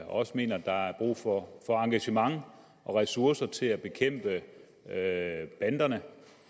også mener der er brug for engagement og ressourcer til at bekæmpe banderne